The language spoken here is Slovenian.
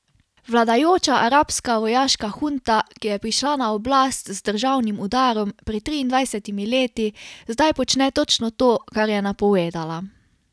Vladajoča arabska vojaška hunta, ki je prišla na oblast z državnim udarom pred triindvajsetimi leti, zdaj počne točno to, kar je napovedala.